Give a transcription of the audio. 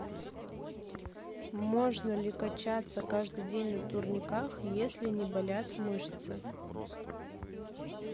можно ли качаться каждый день на турниках если не болят мышцы